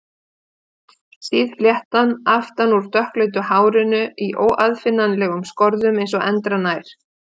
Síð fléttan aftan úr dökkleitu hárinu í óaðfinnanlegum skorðum eins og endranær.